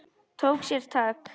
Tók sér tak.